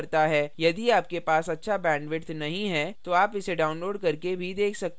यदि आपके पास अच्छा bandwidth नहीं है तो आप इसे download करके भी देख सकते हैं